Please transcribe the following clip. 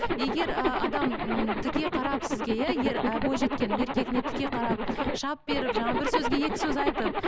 егер ы адам м тіке қарап сізге иә ер бойжеткен еркегіне тіке қарап шап беріп жаңа бір сөзге екі сөз айтып